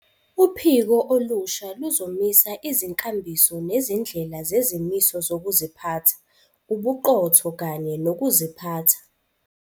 Uphiko olusha luzomisa izinkambiso nezindlela zezimiso zokuziphatha, ubuqotho kanye nokuziphatha.